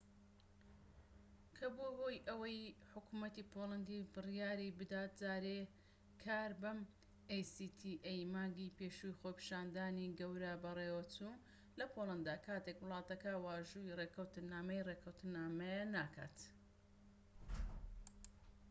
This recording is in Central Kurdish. مانگی پێشوو خۆپیشاندانی گەورە بەڕێوەچوو لە پۆڵەندا کاتێك وڵاتەکە واژۆی ڕێکەوتنامەی actaی کرد کە بووە هۆی ئەوەی حکومەتی پۆڵەندی بڕیای بدات جارێ کار بەم ڕێکەوتنامەیە نەکات